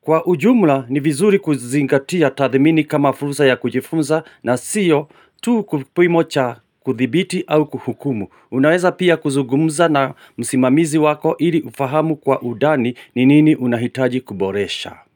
kwa ujumla ni vizuri kuzingatia tathimini kama furusa ya kujifunza na siyo tu kupimo cha kuthibiti au kuhukumu. Unaweza pia kuzugumza na musimamizi wako ili ufahamu kwa udani ni nini unahitaji kuboresha.